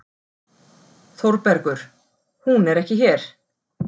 ÞÓRBERGUR: Hún er ekki hér.